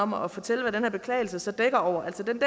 om at fortælle hvad den her beklagelse så dækker over altså den